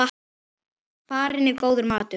Farinn er góður maður.